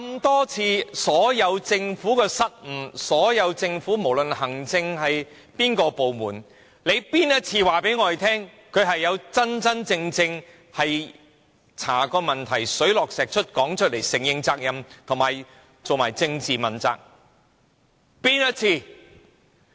多年來，政府所有的失誤，不論哪個行政部門，哪一次能告訴公眾，他們真正調查過問題，並查得水落石出，承認責任，以及進行政治問責。